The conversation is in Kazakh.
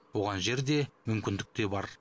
оған жер де мүмкіндік те бар